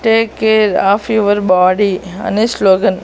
take care of your body అనే slogan --